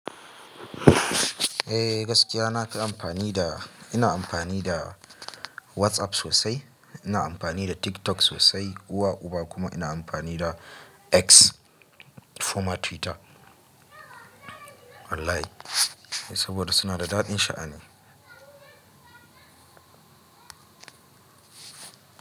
Eh gaskiya na fi amfani da, ina amfani da WhatsApp sosai, ina amfani da TikTok sosai uwa uba kuma ina amfani da X former Twitter wallahi saboda suna da daɗin sha'ani.